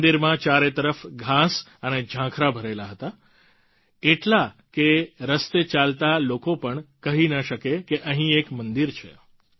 મંદિરમાં ચારે તરફ ઘાસ અને ઝાંખરા ભરેલા હતા એટલા કે રસ્તે ચાલતા લોકો પણ કહી ન શકે કે અહીં એક મંદિર છે